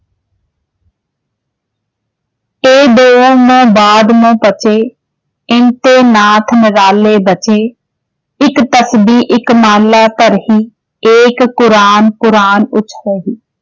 ਨਾਥ ਇੱਕ ਏਕ ਕੁਰਾਨ ਪੁਰਾਨ